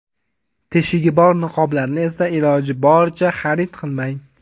Teshigi bor niqoblarni esa iloji boricha xarid qilmang.